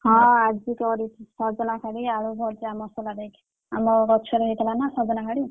ହଁ ଆଜି କରିଛି, ସଜନା ଶାଗ ଆଳୁ ଭଜା ମସଲା ଦେଇକି ଆମ ଗଛରେ ହେଇଥିଲା ନା ସଜନା ହାଡି।